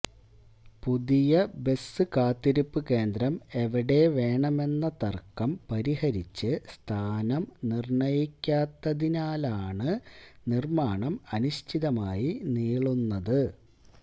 പുതിയ ബസ്കാത്തിരിപ്പുകേന്ദ്രം എവിടെവേണമെന്ന തര്ക്കം പരിഹരിച്ച് സ്ഥാനം നിര്ണയിക്കാത്തതിനാലാണ് നിര്മാണം അനിശ്ചിതമായി നീളുന്നത്